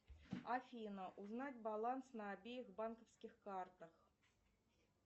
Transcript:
афина узнать баланс на обеих банковских картах